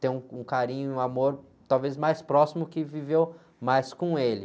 tem um, um carinho e um amor talvez mais próximo porque viveu mais com ele.